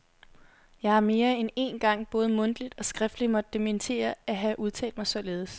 Jeg har mere end én gang både mundtligt og skriftligt måtte dementere at have udtalt mig således.